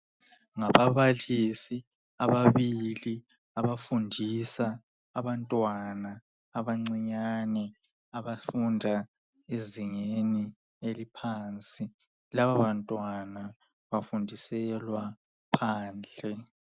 Ngababalisi ababili abafundisa abantwana abancinyane abafunda ezingeni eliphansi. Lababantwana bafundiselwa phandle.